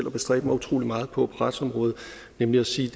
at bestræbe mig utrolig meget på på retsområdet nemlig at sige